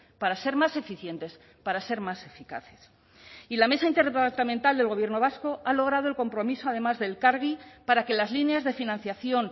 para ser más eficientes para ser más eficaces y la mesa interdepartamental del gobierno vasco ha logrado el compromiso además de elkargi para que las líneas de financiación